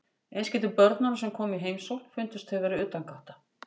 Eins getur börnunum sem koma í heimsókn fundist þau vera utangátta.